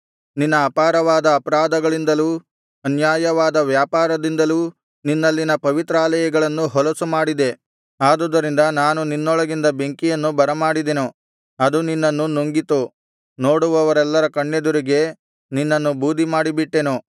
ನಿನ್ನ ಅಪಾರವಾದ ಅಪರಾಧಗಳಿಂದಲೂ ಅನ್ಯಾಯವಾದ ವ್ಯಾಪಾರದಿಂದಲೂ ನಿನ್ನಲ್ಲಿನ ಪವಿತ್ರಾಲಯಗಳನ್ನು ಹೊಲಸು ಮಾಡಿದೆ ಆದುದರಿಂದ ನಾನು ನಿನ್ನೊಳಗಿಂದ ಬೆಂಕಿಯನ್ನು ಬರಮಾಡಿದೆನು ಅದು ನಿನ್ನನ್ನು ನುಂಗಿತು ನೋಡುವವರೆಲ್ಲರ ಕಣ್ಣೆದುರಿಗೆ ನಿನ್ನನ್ನು ಬೂದಿ ಮಾಡಿಬಿಟ್ಟೆನು